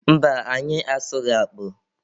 Mba, anyị asụghị akpụ.